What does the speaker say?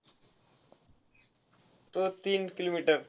तो~ तीन kilometer.